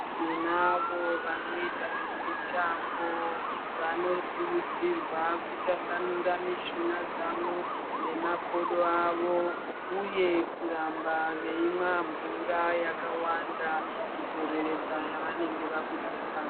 Tinavo vanoita zvemitambo vanokurudzirwa kutasanura mishuna dzavo nemakodo avo uye kuramba veimwa mvura yakawanda kudzoredza yavanenge vabudisa.